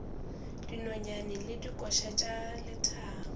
dinonyane le dikoša tša lethabo